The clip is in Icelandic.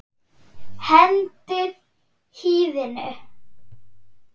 Hendið hýðinu.